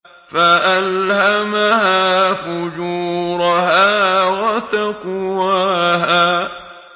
فَأَلْهَمَهَا فُجُورَهَا وَتَقْوَاهَا